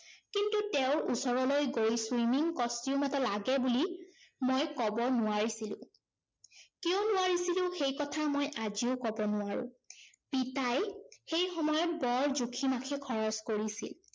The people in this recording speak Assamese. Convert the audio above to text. কিন্তু তেওঁৰ ওচৰলৈ গৈ swimming costume এটা লাগে বুলি ম‍ই কব নোৱাৰিছিলো। কিয় নোৱাৰিছিলো সেই কথা মই আজিও কব নোৱাৰো। পিতাই সেই সময়ত বৰ জুখি মাখি খৰচ কৰিছিল।